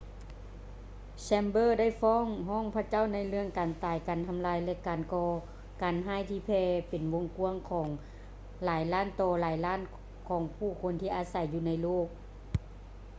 ແຊມເບີ chamber ໄດ້ຟ້ອງຮ້ອງພະເຈົ້າ ໃນເລື່ອງ ການຕາຍ ການທຳລາຍ ແລະ ການກໍ່ການຮ້າຍ ທີ່ແຜ່ເປັນວົງກ້ວາງ ຂອງຫຼາຍລ້ານຕໍ່ຫຼາຍລ້ານ ຂອງຜູ້ຄົນທີ່ອາໄສຢູ່ໃນໂລກ.